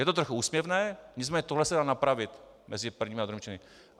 Je to trochu úsměvné, nicméně tohle se dá napravit mezi prvním a druhým čtením.